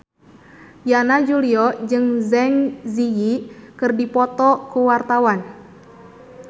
Yana Julio jeung Zang Zi Yi keur dipoto ku wartawan